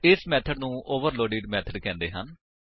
ਇਸ ਮੇਥਡ ਨੂੰ overloaded methods ਕਹਿੰਦੇ ਹਨ